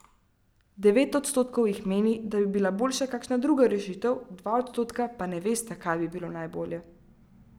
Devet odstotkov jih meni, da bi bila boljša kakšna druga rešitev, dva odstotka pa ne vesta, kaj bi bilo najbolje.